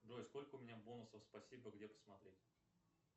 джой сколько у меня бонусов спасибо где посмотреть